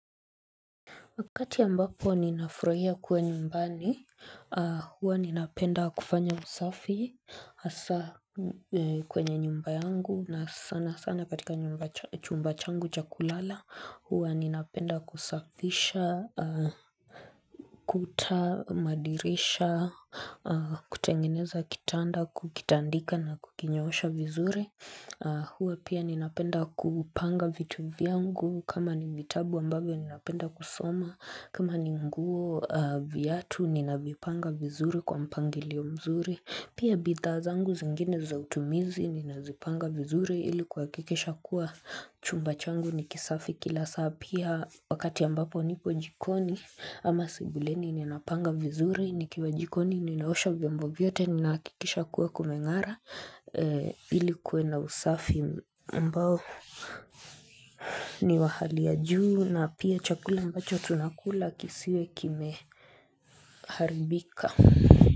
Wakati ambapo ninafurahia kuwa nyumbani, huwa ninapenda kufanya usafi hasa kwenye nyumba yangu na sana sana katika chumba changu cha kulala, huwa ninapenda kusafisha, kuta, madirisha, kutengeneza kitanda, kukitandika na kukinyoosha vizuri. Huwa pia ninapenda kupanga vitu viangu kama ni vitabu ambavyio ninapenda kusoma kama ni nguo viatu ninavyopanga vizuri kwa mpangilio mzuri Pia bidhaa zangu zingine zautumizi ninazipanga vizuri ilikuhakikisha kuwa chumba changu nikisafi kila saa Pia wakati ambapo nipo jikoni ama sebuleni ninapanga vizuri nikiwa jikoni ninaosha vyombo vyovyote ni nahakikisha kuwa kumengara ilikuwe na usafi ambao ni wa hali ya juu na pia chakula ambacho tunakula kisiwe kime haribika.